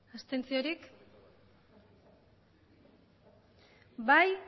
abstentzioak bai